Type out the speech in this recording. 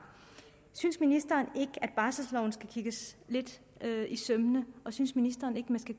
synes ministeren ikke at barselloven skal kigges lidt efter i sømmene og synes ministeren ikke man skal